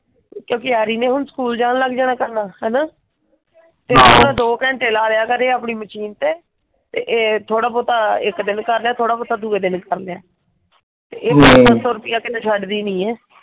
ਕਿਓਂਕਿ ਹੈਰੀ ਨੇ ਹੁਣ ਸਕੂਲ ਜਾਣ ਲੱਗ ਜਾਣਾ ਕਰਨਾ ਹਾਈਆਂ? ਤੇ ਉਹ ਦੋ ਘੰਟੇ ਲਾ ਲਿਆ ਕਰੇ ਆਪਣੇ ਮਸ਼ੀਨ ਤੇ ਤੇ ਇਹ ਥੋੜਾ ਬਹੁਤ ਇੱਕ ਦਿਨ ਕਰਲੇ ਥੋੜਾ ਬਹੁਤ ਦੂਜੇ ਦਿਨ ਕਰ ਲਏ। ਤੇ ਇਹ ਪੰਜ ਸੌ ਰੁਪਈਆ ਕਦੇ ਛੱਡ ਦੀ ਨਹੀਂ ਆ।